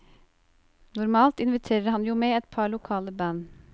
Normalt inviterer han jo med et par lokale band.